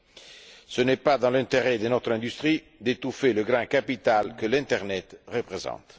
Il n'est pas dans l'intérêt de notre industrie d'étouffer le grand capital que l'internet représente.